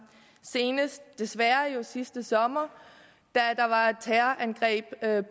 senest jo desværre sidste sommer da der var et terrorangreb